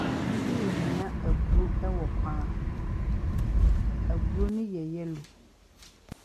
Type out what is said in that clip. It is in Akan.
Maame bi renoa aburo wɔ kwan ho. Aburo no yɛ yellow.